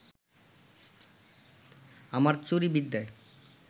আমার চুরি বিদ্যায়